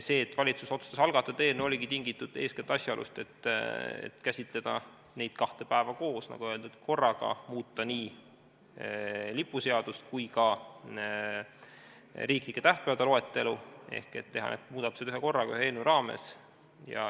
See, et valitsus otsustas algatada eelnõu, oligi tingitud eeskätt asjaolust, et taheti käsitleda neid kahte päeva koos, nagu öeldud, korraga muuta nii lipuseadust kui ka riiklike tähtpäevade loetelu, teha need muudatused ühekorraga, ühe eelnõu raames.